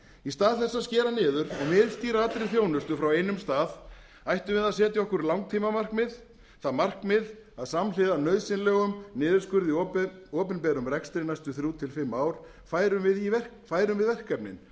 í stað þess að skera niður og miðstýra allri þjónustu frá einum stað ættum við að setja okkur langtímamarkmið það markmið að samhliða nauðsynlegum niðurskurði í opinberum rekstri næstu þrjú til fimm ár færum við verkefnin